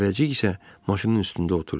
Dərrəcik isə maşının üstündə oturdu.